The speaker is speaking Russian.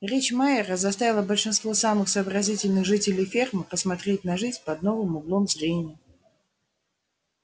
речь майера заставила большинство самых сообразительных жителей фермы посмотреть на жизнь под новым углом зрения